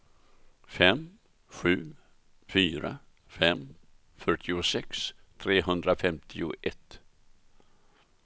fem sju fyra fem fyrtiosex trehundrafemtioett